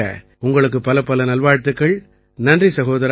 உங்களுக்கு பலப்பல நல்வாழ்த்துக்கள் நன்றி சகோதரா